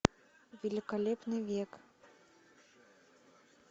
великолепный век